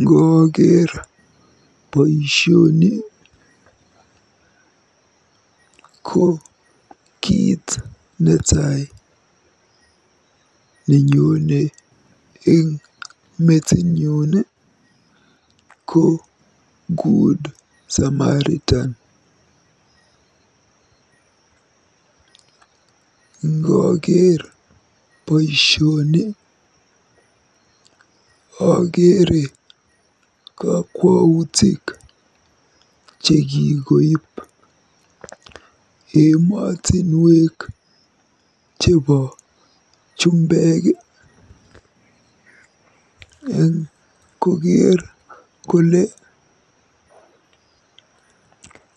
Ngooker boisioni ko kiit netai nenyone eng metinyun ko Good Samaritan. Ngooker boisioni akeere kakwautik chekikoib emotinwek chebo jumbek eng kokeer kole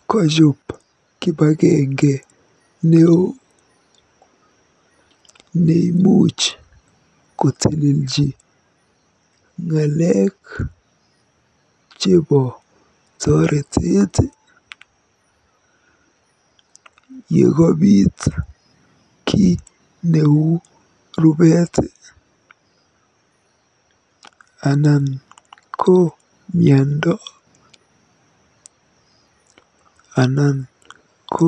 kajoob kibagenge neoo neimuch kotelelji ng'alekab toretet yekabiit kiy neu rubeet anan ko miando anan ko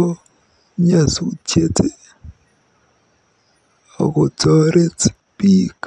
nyasutiet akotoret biik.